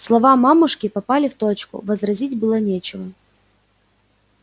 слова мамушки попали в точку возразить было нечего